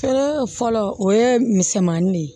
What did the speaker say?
Fɔlɔ fɔlɔ o ye misɛnmanin de ye